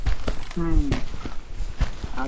ಹ್ಮ್ ಹ್ಮ್, ಅದೇ.